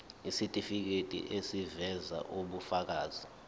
isitifiketi eziveza ubufakazi